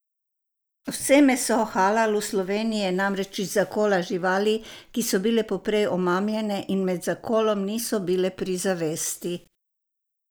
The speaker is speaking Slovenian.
Vse meso halal v Sloveniji je namreč iz zakola živali, ki so bile poprej omamljene in med zakolom niso bile pri zavesti.